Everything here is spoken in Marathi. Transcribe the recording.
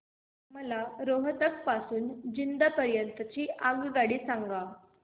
मला रोहतक पासून तर जिंद पर्यंत ची आगगाडी सांगा